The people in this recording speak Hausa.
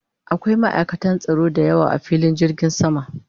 Akwai ma'aikatan tsaro da yawa a filin jirgin sama